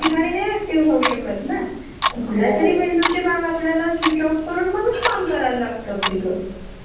आणी नऊ ते सहा नंतर आमचे बॉस इतके खतरूड होते न रोजच्या रोज सहा मिनिटाला मिटिंग शेड्युल करायचे